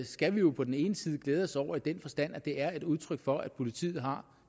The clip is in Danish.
skal vi jo på den ene side glæde os over i den forstand at det er et udtryk for at politiet har